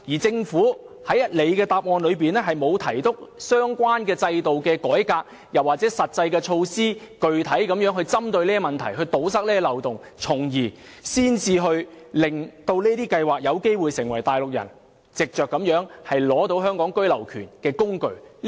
政府在主體答覆中沒有提及相關的制度改革，又或是實際措施，具體針對這些問題，堵塞有關漏洞，因而令這些計劃有機會成為內地人取得居留權的工具。